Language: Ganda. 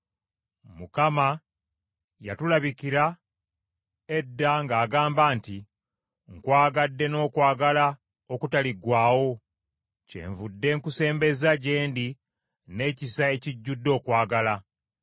Mukama yatulabikira edda ng’agamba nti, “Nkwagadde n’okwagala okutaliggwaawo, kyenvudde nkusembeza gye ndi n’ekisa ekijjudde okwagala.